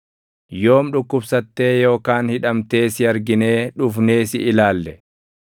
Yoom dhukkubsattee yookaan hidhamtee si arginee dhufnee si ilaalle?’